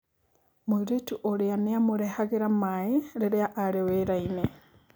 mũirĩtu ũrĩa nĩ amũrehagĩra maĩ rĩriĩ arĩ wĩrainĩ.